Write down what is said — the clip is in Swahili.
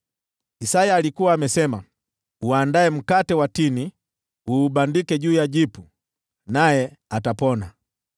Isaya alikuwa amesema, “Tengenezeni dawa ya kubandika ya tini, mweke juu ya jipu, naye atapona.”